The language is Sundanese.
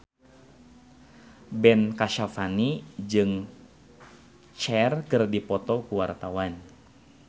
Ben Kasyafani jeung Cher keur dipoto ku wartawan